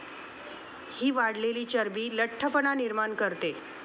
हि वाढलेली चरबी लठ्ठपणा निर्माण करते.